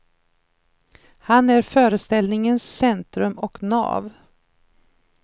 Han är föreställningens centrum och nav.